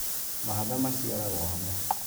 Mahatha maciaragwo hamwe